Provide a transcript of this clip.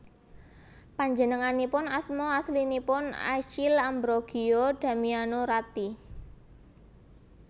Panjenenganipun asma aslinipun Achille Ambrogio Damiano Ratti